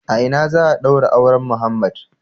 A ina za a daura auren Muhammed?